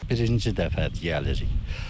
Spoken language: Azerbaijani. Birinci dəfə gəlirik.